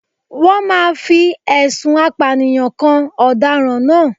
Wọ́n máa fi ẹ̀sùn apànìyàn kan ọ̀daràn náà